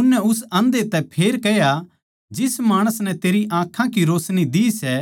उननै उस आंधै तै फेर कह्या जिस माणस नै तेरे ताहीं आँखां की रोशनी दी सै